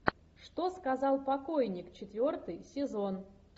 что сказал покойник четвертый сезон